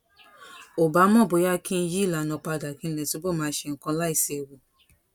ò bá mọ bóyá kí n yí ìlànà padà kí n lè túbọ̀ máa ṣe nǹkan láìséwu